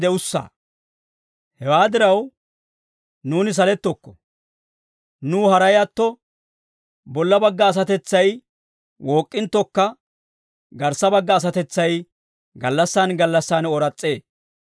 Hewaa diraw, nuuni salettokko; nuw haray atto, bolla bagga asatetsay wook'k'inttokka, garssa bagga asatetsay gallassan gallassan ooras's'ee.